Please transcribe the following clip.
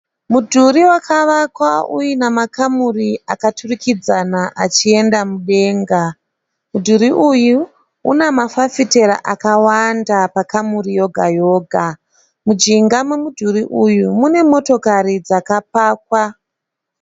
Mudhuri wakavakwa uina makamuri akaturikidzana achienda mudenga. Mudhuri uyu una mafafitera akawanda pa kamuri yoga yoga. Munjinga momudhuri uyu mune motokari dzakapakwa.